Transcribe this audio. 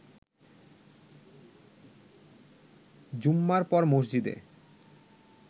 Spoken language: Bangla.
জুম্মার পর মসজিদে